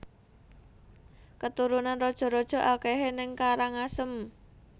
Keturunan raja raja akehe ning Karangasem